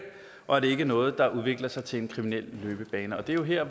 og at det ikke er noget der udvikler sig til en kriminel løbebane det er jo her